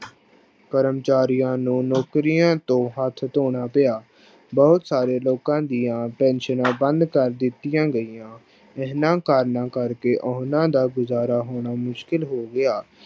ਕਰਮਚਾਰੀਆਂ ਨੂੰ ਨੌਕਰੀਆਂ ਤੋਂ ਹੱਥ ਧੋਣਾ ਪਿਆ, ਬਹੁਤ ਸਾਰੇ ਲੋਕਾਂ ਦੀਆਂ ਪੈਨਸ਼ਨਾਂ ਬੰਦ ਕਰ ਦਿੱਤੀਆਂ ਗਈਆਂ, ਇਹਨਾਂ ਕਾਰਨਾਂ ਕਰਕੇ ਉਹਨਾਂ ਦਾ ਗੁਜ਼ਾਰਾ ਹੋਣਾ ਮੁਸ਼ਕਲ ਹੋ ਗਿਆ।